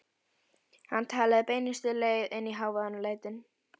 Hann talaði beinustu leið inn í hávaðann og lætin.